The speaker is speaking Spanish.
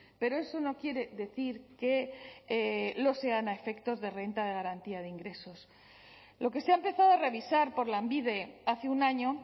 pero eso no quiere decir que lo sean a efectos de renta de garantía de ingresos lo que se ha empezado a revisar por lanbide hace un año